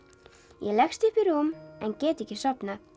ég leggst upp í rúm en get ekki sofnað